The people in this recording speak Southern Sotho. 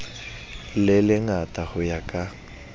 le lengata ho ya ka